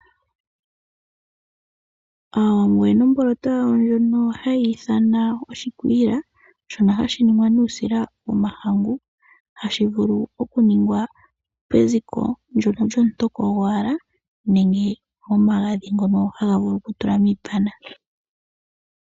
Aawambo oyena omboloto yawo ndjono hayi ithanwa oshikwiila, shono hashi ningwa nuusila womahangu, hashi vulu okuningwa peziko lyomutoko gwowala nenge nomagadhi ngono haga vulu okutulwa miipana.